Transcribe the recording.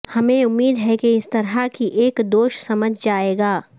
ہمیں امید ہے کہ اس طرح کی ایک دوش سمجھ جائے گا